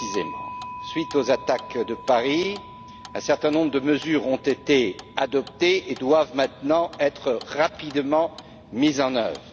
Après les attaques de Paris, un certain nombre de mesures ont été adoptées et doivent maintenant être rapidement mises en œuvre.